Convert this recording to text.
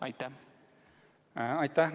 Aitäh!